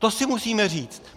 To si musíme říci.